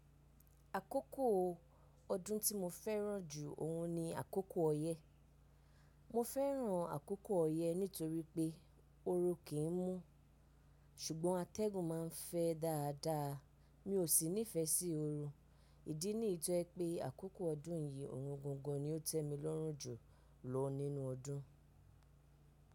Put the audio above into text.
Àkókò ọdún tí mo fẹ́ràn jù ọ̀hun ni àkókò ọyẹ́. Mo fẹ́ràn àkókò ọyẹ́ nítorí pé oru kì í mú, ṣùgbọ́n atẹ́gùn ma ń fẹ́ dáadáa. Mi ò sì nífẹsí oru. Ìdí nì yi to jẹ́ pé àkókò ọdún yìí, òhùn gangan ni ó tẹ́ mi lọ́rùn jù lọ nínú ọdún.